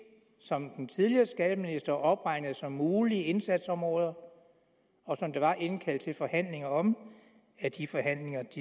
som den tidligere skatteminister opregnede som mulige indsatsområder og som der var indkaldt til forhandlinger om